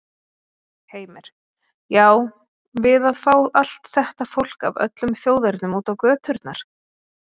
Heimir: Já, við að fá allt þetta fólk af öllum þjóðernum út á göturnar?